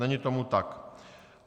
Není tomu tak.